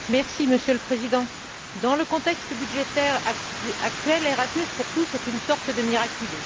Monsieur le Président, dans le contexte budgétaire actuel, Erasmus pour tous est une sorte de miraculé.